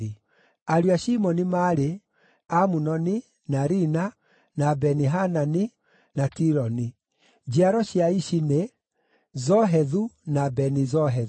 Ariũ a Shimoni maarĩ: Amunoni, na Rina, na Beni-Hanani, na Tiloni. Njiaro cia Ishi nĩ: Zohethu na Beni-Zohethu.